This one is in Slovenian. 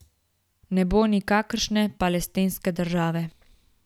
Ne bo nikakršne palestinske države.